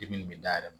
Depi nin bɛ da yɛlɛ